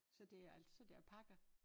Så det er altså det alpaca